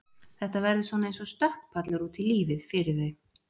Þetta verður svona eins og stökkpallur út í lífið fyrir þau.